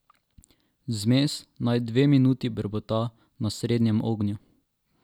Zmes naj dve minuti brbota na srednjem ognju.